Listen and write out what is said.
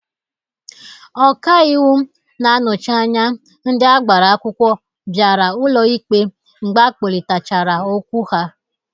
Ọka iwu na-anọchị anya ndị agbara akwụkwọ biara ụlọ ikpe mgbe akpọlitachara okwu ha.